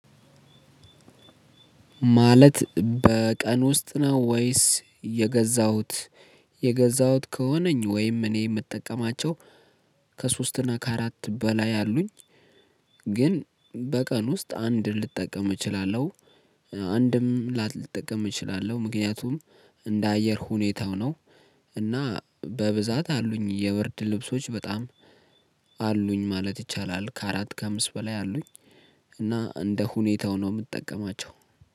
ማለት በቀን ውስጥ ነው? ወይስ የገዛሁት የገዛሁት ከሆነኝ ወይም እኔ የምጠቀማቸው ከሶስት እና ከአራት በላይ አሉኝ። ግን በቀን ውስጥ አንድ ልጠቀም እችላለሁ። አንድም ላልጠቀም እችላለሁ። ምክንያቱም እንደ አየር ሁኔታው ነው። እና በብዛት አሉኝ የብርድ ልብሶች በጣም አሉኝ ማለት ይቻላል ከአራት ከአምስት በላይ አሉኝ። እና እንደ ሁኔታው ነው የምጠቀማቸው